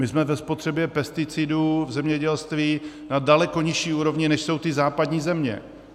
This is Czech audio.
My jsme ve spotřebě pesticidů v zemědělství na daleko nižší úrovni, než jsou ty západní země.